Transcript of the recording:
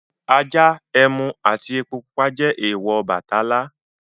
Ajá, ẹmu àti epo pupa jẹ́ èèwọ̀ Ọbàtálá.